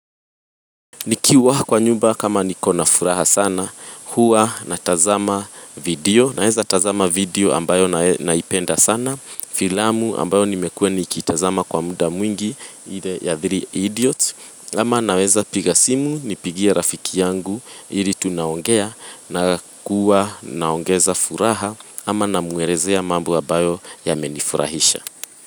Nikiwa kwa nyumba kama niko na furaha sana, huwa natazama video, naweza natazama video ambayo naipenda sana, filamu ambayo nimekuwa nikitazama kwa muda mwingi, ile ya three idiots, ama naweza piga simu, nipigie rafiki yangu, ili tunaongea, na kuwa naongeza furaha, ama na muerezea mambo abayo yamenifurahisha.